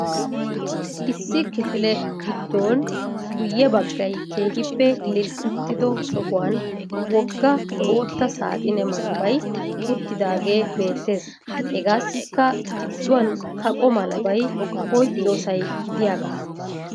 Issi kifile gidoon guye baggay keehiippe lil'ettido sohuwaan wogga bootta saaxinne malabay uttidaage beettees. Hagaasikka giduwan kaqo malabay oyqqiyosay de'iyaaga.